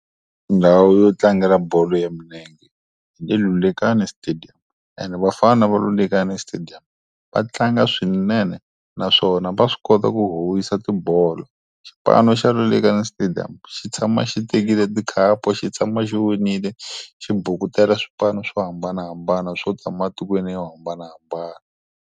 Ndhawu yo tlangela bolo ya milenge hi le Lulekani stadium ene vafana Lulekani stadium, va tlanga swinene naswona va swi kota ku howisa tibolo. Xipano xa Lulekani stadium xi tshama xi tekile tikhapu xi tshama xi winile, xi bukutela swipanu swo hambanahambana swo tshama matikweni yo hambanahambana.